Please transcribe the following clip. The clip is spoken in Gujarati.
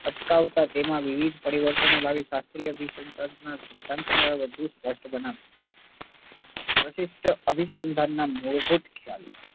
અટકાવતા તેમાં વિવિધ પરિવર્તનો લાવી શાસ્ત્રીય અભિસંધાનના વધુ સ્પષ્ટ બનાવ્યા. પ્રશિષ્ટ અભિસંધાનના મૂળભૂત